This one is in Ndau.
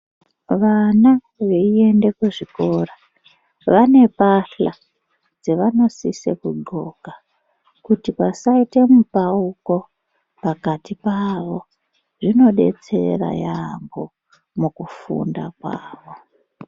Vana veienda kuzvikora vanopahla zvavmofama kugonka kuti pasaita mipauko pakati pawj zvinodetsera yambo mukufunda kwawo.